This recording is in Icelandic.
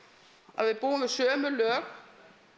að við búum við sömu lög